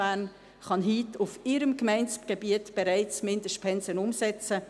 Bern kann Mindestpensen heute auf ihrem Gemeindegebiet bereits umsetzen.